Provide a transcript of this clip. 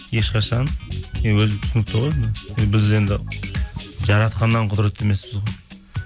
ешқашан өзі түсінікті ғой біз енді жаратқаннан құдыретті емеспіз ғой